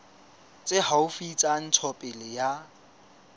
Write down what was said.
tse haufi tsa ntshetsopele ya